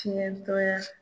Fiɲɛntɔya